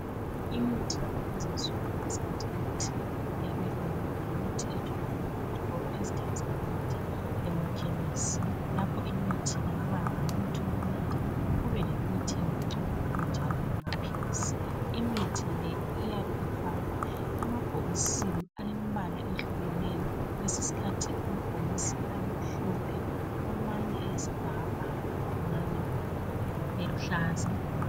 Imithi yakulezinsuku loba singathi imithi yabelungu itholakala ezitolo ezithengisa imithi emakhemesi. Lapho imithi le kubalemithi yokunatha, kube lemithi yokugcoba kube njalo lamaphilisi. Imithi le iyabe ifakwe emabhokisini alembala etshiyeneyo. Kwesinye isikhathi amabhokisi abemhlophe, amanye eyisibhakabhaka amanye eluhlaza.